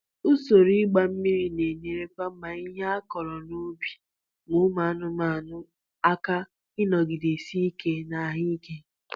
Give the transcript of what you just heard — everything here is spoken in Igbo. Ụsoro ịgba mmiri na-enyere ma ihe a kuru n'ubi na ụmụ anụmanụ aka ịnọgide si ike na ahụ ike.